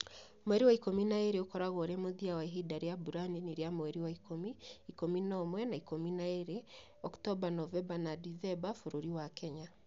Mweri wa Ikumi na igĩrĩ ũkoragwo ũrĩ mũthia wa ihinda rĩa mbura nini rĩa mweri wa ikumi, ikumi na ũmwe na Ikumi na igĩrĩ (OND)bũrũri wa Kenya.